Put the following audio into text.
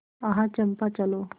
आह चंपा चलो